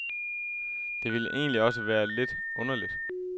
Det ville egentlig også være lidt underligt.